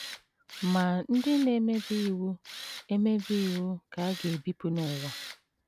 Ma ndị na - emebi iwu - emebi iwu ka a ga - ebipụ n’ụwa. ”